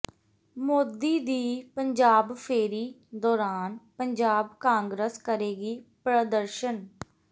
ਮੋਦੀ ਦੀ ਪੰਜਾਬ ਫੇਰੀ ਦੌਰਾਨ ਪੰਜਾਬ ਕਾਂਗਰਸ ਕਰੇਗੀ ਪ੍ਰਦਰਸ਼ਨ